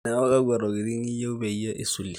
neeku kakwa tokitin iyieu peyie isulie